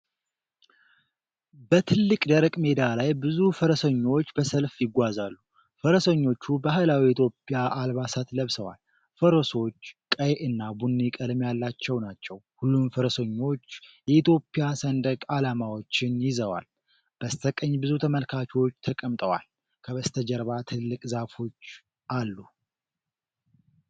በትልቅ ደረቅ ሜዳ ላይ ብዙ ፈረሰኞች በሰልፍ ይጓዛሉ። ፈረሰኞቹ ባህላዊ የኢትዮጵያ አልባሳት ለብሰዋል። ፈረሶች ቀይ እና ቡኒ ቀለም ያላቸው ናቸው። ሁሉም ፈረሰኞች የኢትዮጵያ ሰንደቅ ዓላማዎችን ይዘዋል። በስተቀኝ ብዙ ተመልካቾች ተቀምጠዋል። ከበስተጀርባ ትልልቅ ዛፎች አሉ።